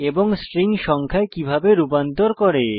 এবং স্ট্রিং সংখ্যায় কিভাবে রূপান্তর করে